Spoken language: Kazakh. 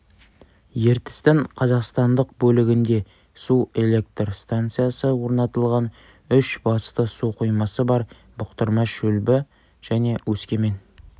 ертістің қазақстандық бөлігінде су электр станциясы орнатылған үш басты су қоймасы бар бұқтырма шүлбі және өскемен